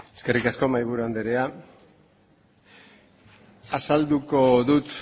eskerrik asko mahiburu andrea azalduko dut